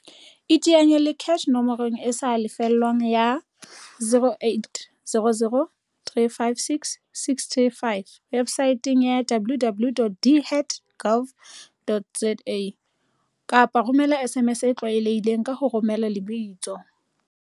iteanya le CACH nomorong e sa lefellweng ya, 0800 356 635, webosaeteng ya, www.dhet.gov.za, kapa ba romela SMS e tlwaelehileng, ka ho romela lebitso